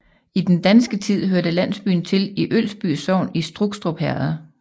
I den danske tid hørte landsbyen til i Ølsby Sogn i Strukstrup Herred